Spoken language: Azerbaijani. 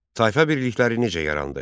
Tayfa birlikləri necə yarandı?